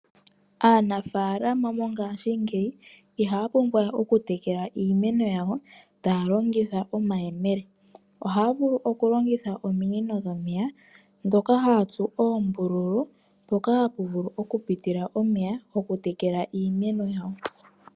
Aanafalama mongashingeyi iha ya pumbwawe okutekela iimeno yawo taa longitha omayemele, ohaa vulu okulongitha ominino dhomeya dhoka haatsu oombululu mpoka hapu vulu oku pitila omeya goku tekela iimeno yawo.